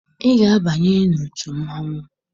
Ị ga-abanye n'otu mmanwụ!